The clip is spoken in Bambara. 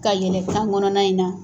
Ka yɛlɛn kan kɔnɔna in na.